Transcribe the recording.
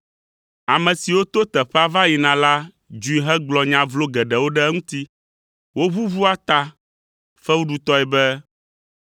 Ame siwo to teƒea va yina la dzui hegblɔ nya vlo geɖewo ɖe eŋuti. Woʋuʋua ta fewuɖutɔe be,